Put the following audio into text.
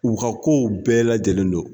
U ka kow bɛɛ lajɛlen don